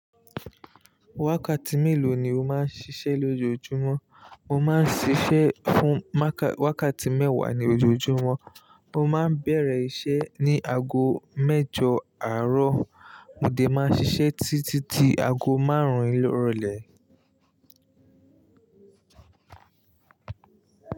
Wákàtí mélòó ni o máa ń ṣiṣẹ́ lójoojúmọ́? Mo má ń ṣíṣe fún ma- wákàtí mẹ́wàá ní ojoojúmọ́. Mo máa ń bẹ̀rẹ̀ iṣẹ́ ní ago mẹ́jọ àárọ̀. Mo dè máa ṣiṣẹ́ títí ago máarùn ìrọ̀lẹ́.